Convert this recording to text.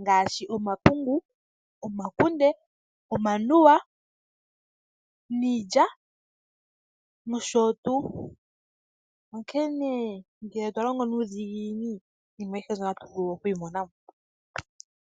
ngaashi omapungu, omakunde, omanuwa, niilya nosho tu. Onkene ngele twa longo nuudhiginini iinima ayihe mbyono otatu vulu okuyi mona mo.